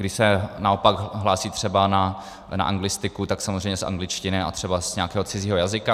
Když se naopak hlásí třeba na anglistiku, tak samozřejmě z angličtiny a třeba z nějakého cizího jazyka.